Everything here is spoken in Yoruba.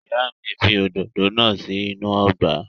Ìyá mi fi òdòdó náà sí inú ọgbà.